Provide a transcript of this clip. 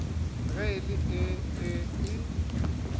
ge e le ee e